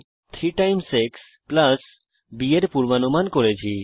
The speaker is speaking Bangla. আমরা একটি input function f 3 x b এর পূর্বানুমান করেছি